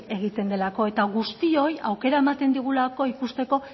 egiten delako eta guztioi aukera ematen digulako ikusteko